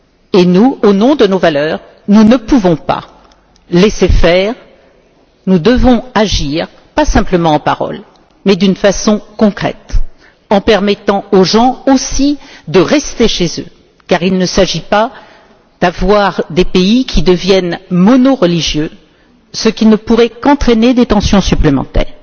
Et nous, au nom de nos valeurs, nous ne pouvons pas laisser faire, nous devons agir, pas simplement en paroles mais d'une façon concrète, en permettant aux gens aussi de rester chez eux car il ne s'agit pas d'avoir des pays qui deviennent monoreligieux, ce qui ne pourrait qu'entraîner des tensions supplémentaires.